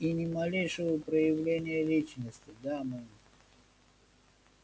и ни малейшего проявления личности да мэм